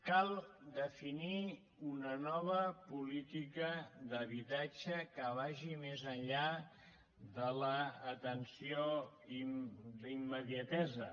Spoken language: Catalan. cal definir una nova política d’habitatge que vagi més enllà de l’atenció d’immediatesa